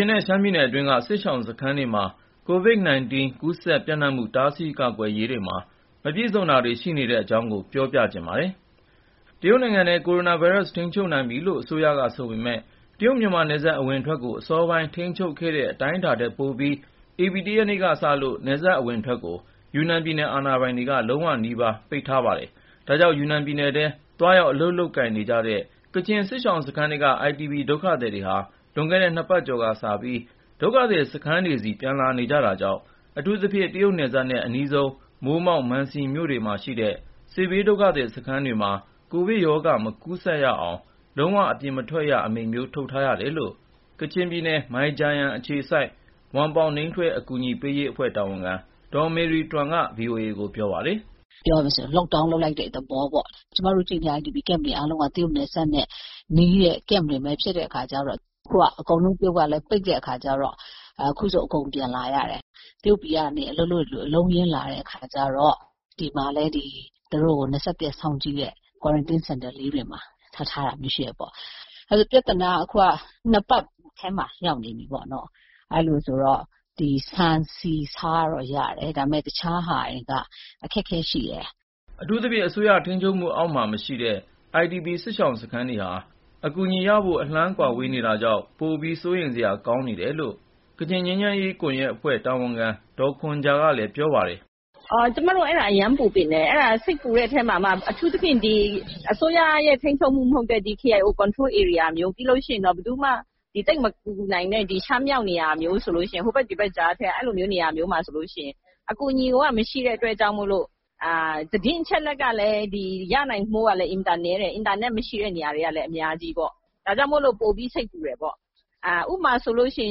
င်နဲ့ ရှမ်းပြည်နယ်အတွင်းက စစ်ရှောင်စခန်းတွေမှာ COVID-19 ကူးစက်ပျံ့နှံ့မှု တားဆီးကာကွယ်ရေးမှာ မပြည့်စုံတာတွေ ရှိနေပါတယ်။ အပြည့်အစုံကို ကိုဉာဏ်ဝင်းအောင်က ဆက်သွယ်မေးမြန်းပြီး တင်ပြပေးထားပါတယ်။ တရုတ်နိုင်ငံထဲမှာ ကိုရိုနာဗိုင်းရပ်စ်ကို ထိန်းချုပ်နိုင်ပြီလို့ အစိုးရက ဆိုပေမယ့် တရုတ်-မြန်မာနယ်စပ် အဝင်အထွက်ကို အစောပိုင်း ထိန်းချုပ်ခဲ့တဲ့ အတိုင်းအတာထက် ပိုပြီး ဧပြီ ၁ ရက်နေ့ကစလို့ နယ်စပ်အဝင်အထွက်ကို ယူနန်ပြည်နယ် အာဏာပိုင်တွေက လုံးဝနီးပါး ပိတ်ထားပါတယ်။ ဒါကြောင့် ယူနန်ပြည်နယ်ထဲ သွားရောက်အလုပ်လုပ်ကိုင်နေကြတဲ့ ကချင်စစ်ရှောင်စခန်းထဲက IDP ဒုက္ခသည်တွေဟာ လွန်ခဲ့တဲ့ နှစ်ပတ်ကျော်ကစပြီး ဒုက္ခသည်စခန်းတွေဆီ ပြန်လာနေကြတာကြောင့် အထူးသဖြင့် တရုတ်နယ်စပ်နဲ့ အနီးဆုံး မိုးမောက်၊ မန်စီမြို့နယ်တွေမှာရှိတဲ့ စစ်ဘေးဒုက္ခသည်စခန်းတွေမှာ ကိုဗစ်ရောဂါ မကူးစက်ရအောင် လုံးဝ အပြင်မထွက်ရ Lockdown အမိန့်မျိုး ထုတ်ထားရတယ်လို့ ကချင်ပြည်နယ် မိုင်ဂျာယန်အခြေစိုက် ဝမ်ပေါင်နိမ်းထွဲ အကူအညီပေးရေးအဖွဲ့ တာဝန်ခံ ဒေါ်မေရီတွမ်က ဗွီအိုအေကို ပြောပါတယ်။ “ပြောရမယ်ဆိုရင် Lockdown လုပ်လိုက်တဲ့ သဘောပေါ့၊ ကျမတို့ ကချင် IDP စခန်းတွေ အားလုံးက တရုတ်နယ်စပ်နဲ့နီးတဲ့ စခန်းတွေပဲ ဖြစ်တဲ့အခါကျတော့ အခုက တရုတ်က အကုန်လုံး ပိတ်လိုက်တဲ့အခါကျတော့ အခုဆို အကုန်ပြန်လာကြတယ်။ တရုတ်ပြည်မှာ သွားအလုပ်လုပ်တဲ့သူတွေ အလုံးအရင်းနဲ့ ပြန်လာတဲ့အခါကျတော့ ဒီမှာလည်း သူတို့ကို ၂၁ ရက် စောင့်ကြည့်တဲ့ Quarantine Center လေးတွေမှာ ထားထားတာမျိုး ရှိတယ်ပေါ့။ ပြဿနာက အခုက ၂ ပတ်ထဲမှာ ရောက်နေပြီပေါ့။ အဲလိုဆိုတော့ ခုက ဆန်ဆီဆားတော့ ရတယ်၊ ဒါပေမယ့် အခြားဟာတွေက အခက်အခဲရှိတယ်။” အထူးသဖြင့် အစိုးရထိန်းချုပ်မှုအောက်မှာ မရှိတဲ့ IDP စစ်ရှောင်စခန်းတွေဟာ အကူအညီရဖို့ အလှမ်းဝေးနေတာကြောင့် ပိုပြီး စိုးရိမ်စရာ ကောင်းနေတယ်လို့ ကချင်ငြိမ်းချမ်းရေးကွန်ရက်အဖွဲ့ တာဝန်ခံ ဒေါ်ခွန်ဂျာကလည်း ပြောပါတယ်။ “ကျမတို့ အဲ့ဒါ အရမ်းပူပန်တယ်။ စိတ်ပူတဲ့အထဲမှာမှ အထူးသဖြင့် အစိုးရထိန်းချုပ်မှု မဟုတ်တဲ့ KIO ထိန်းချုပ်ဧရိယာလို နေရာမျိုး၊ ပြီးလို့ရှိရင် ဘယ်သူမှ သိပ်မကူညီနိုင်တဲ့ ရှမ်းပြည်မြောက်ပိုင်း ဟိုဘက်ဒီဘက်ကြားထဲက နေရာမျိုးဆိုရင် အကူအညီက မရှိတဲ့အတွက်ကြောင့်မို့လို့၊ အင်တာနက်မရှိတဲ့ နေရာတွေက အများကြီးဆိုတော့ သတင်းအချက်အလက်ကလည်း ရနိုင်ဖို့ အင်မတန်နည်းတယ်။ ဒါကြောင့်မို့လို့ ပိုပြီး စိတ်ပူတယ်ပေါ့။ ဥပမာဆိုရင်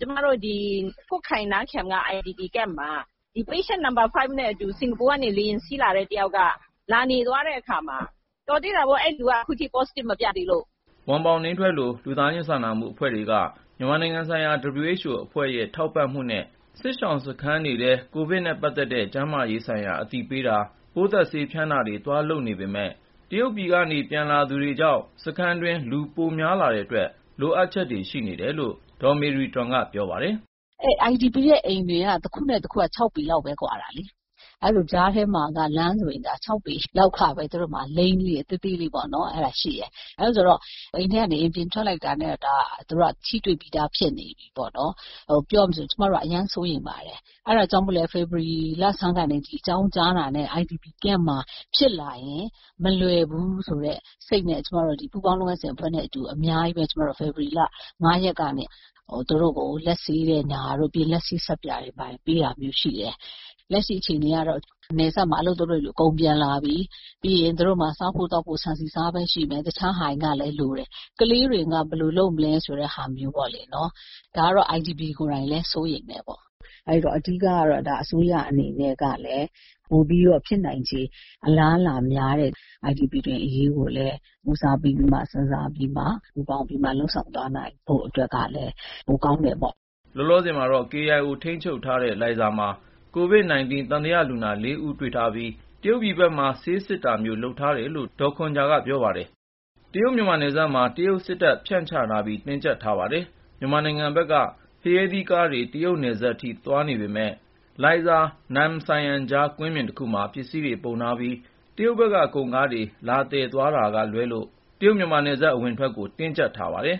ကျမတို့ ကွတ်ခိုင် နမ်းဖျန်က ဒီ IDP Camp မှာ သေသွားပြီဖြစ်တဲ့ ဒီ လူနာနံပါတ် ၅ နဲ့အတူ စင်ကာပူကနေ လေယာဉ်စီးလာတဲ့ တယောက်က လာနေသွားတဲ့အခါမှာ၊ တော်သေးတာပေါ့ အဲ့ဒီလူက Positive မပြသေးလို့။” ဝမ်ပေါင်နိမ်းထွဲလို လူသားချင်းစာနာမှု အဖွဲ့တွေက မြန်မာနိုင်ငံဆိုင်ရာ WHO အဖွဲ့ရဲ့ ထောက်ပံ့မှုနဲ့ စစ်ရှောင်စခန်းတွေထဲ ကိုဗစ်နဲ့ပတ်သက်တဲ့ ကျန်းမာရေးဆိုင်ရာ အသိပညာပေးတာ၊ ပိုးသတ်ဆေးဖျန်းတာတွေ သွားလုပ်နေပေမယ့် တရုတ်ပြည်ကနေ ပြန်လာသူတွေကြောင့် စခန်းတွင်း လူပိုများလာတဲ့အတွက် လိုအပ်ချက်တွေ ရှိနေတယ်လို့ ဒေါ်မေရီတွမ်က ပြောပါတယ်။ “အဲ့ဒီ IDP တွေရဲ့အိမ်က တခုနဲ့တခုက ၆ ပေလောက်ပဲ ကွာတာလေ။ အဲလိုဆိုတော့ အိမ်တွေကြားမှာ လမ်းလေးတွေက ၆ ပေလောက် သေးသေးလေးတွေပဲရှိတာ။ အိမ်ထဲကနေ အိမ်ပြင်ထွက်လိုက်တာနဲ့ သူတို့က တယောက်နဲ့တယောက် ထိတွေ့ပြီးသား ဖြစ်နေပြီပေါ့နော်။ ပြောရမယ်ဆို ကျမတို့က အရမ်းစိုးရိမ်ပါတယ်။ အဲဒါကြောင့်ပဲ ဖေဖေါ်ဝါရီလဆန်းမှာ ဒီရောဂါအကြောင်း ကြားတာနဲ့ ဒီဒုက္ခသည်စခန်းမှာ ဖြစ်လာရင် မလွယ်ဘူးဆိုတဲ့ စိတ်နဲ့၊ ကျမတို့လည်း စခန်းထဲက ကိုဗစ်ကာကွယ်ရေး ပူးပေါင်းလုပ်ငန်းစဉ်အဖွဲ့နဲ့ အတူ ဖေဖော်ဝါရီ ၅ ရက်ကစပြီး သူတို့ကို လက်ဆေးတဲ့ ပညာပေးတွေ၊ လက်ဆေးဆပ်ပြာ ဝေပေးတာတွေ ရှိတယ်။ လက်ရှိအခြေအနေကတော့ နယ်စပ်မှာ အလုပ်သွားလုပ်တဲ့သူတွေ အကုန်ပြန်လာကြပြီ။ ပြီးရင် သူတို့မှာ စားဖို့ သောက်ဖို့ ဆန်ဆီဆားပဲရှိမယ်၊ အခြားဟာတွေက လိုတယ်။ ကလေးတွေက ဘယ်လိုလုပ်မလဲ ဆိုတဲ့ဟာမျိုးပေါ့လေ၊ ဒါမျိုးကို စစ်ရှောင်တွေကိုယ်တိုင်ကလည်း စိုးရိမ်တယ်။ အဓိကကတော့ အစိုးရအနေနဲ့ကလည်း ပိုပြီး ဖြစ်နိုင်ခြေ အလားအလာများတဲ့ ဒုက္ခသည်တွေ အရေးကိုလည်း ဦးစားပေး စဉ်းစားပြီးတော့ ပူးပေါင်းလုပ်ဆောင်ပေးသွားနိုင်ရင် ပိုကောင်းမယ်လို့ မြင်ပါတယ်။” လောလောဆယ်မှာတော့ KIO ထိန်းချုပ်ထားတဲ့ လိုင်ဇာမှာ COVID-19 သံသယလူနာ ၄ ဦးတွေ့ထားပြီး တရုတ်ပြည်ဘက်မှာ ဆေးစစ်တာမျိုး လုပ်ထားတယ်လို့ ဒေါ်ခွန်ဂျာက ပြောပါတယ်။ တရုတ်-မြန်မာနယ်စပ်မှာ တရုတ်စစ်တပ် ဖြန့်ချထားပြီး တင်းကျပ်ထားပါတယ်။ မြန်မာနိုင်ငံဘက်က ဖရဲသီးကားတွေ တရုတ်နယ်စပ်နားထိ သွားနေပေမယ့် လိုင်ဇာ-နမ်ဆိုင်ယမ်ကြား ကွင်းပြင်တခုမှာ ပစ္စည်းတွေပုံထားပြီး တရုတ်ဘက်က ကုန်ကားတွေ လာသယ်သွားတာကလွဲလို့ တရုတ်-မြန်မာနယ်စပ် အဝင်အထွက်ကို တင်းကျပ်ထားပါတယ်